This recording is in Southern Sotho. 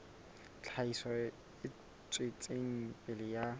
tlhahiso e tswetseng pele ya